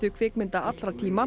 kvikmynda allra tíma